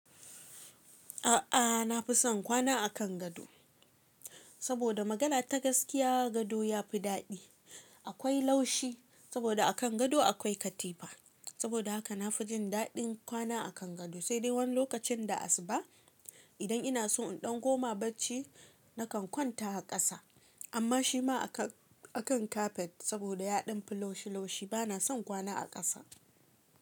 A ah, nafi son kwana a kan gado saboda magana ta gaskiya gado ya fi daɗi. Akwai laushi saboda a kan gado akwai katifa. Saboda haka na fi jin daɗin kwana a kan gado, sai dai wani lokacin da asuba idan ina so in ɗan koma barci na kan kwanta a ƙasa. Amma shi ma a kan, a kan kafet saboda yaɗan fi laushi-laushi bana son kwana a ƙasa.